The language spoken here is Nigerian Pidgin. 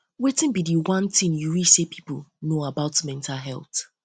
wetin be um di one thing you wish say people know about mental um health